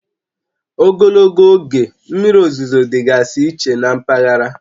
Ogologo oge mmiri ozuzo dịgasị iche na mpaghara